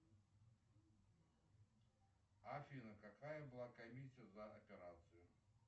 афина какая была комиссия за операцию